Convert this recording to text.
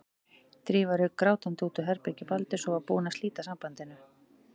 Drífa rauk grátandi út úr herbergi Baldurs og var búin að slíta sambandinu.